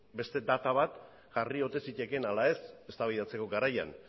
beste data bat jarri ote zitekeen ala ez eztabaidatzeko garaian